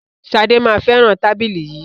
Ṣadé máa fẹràn tábìlì yìí.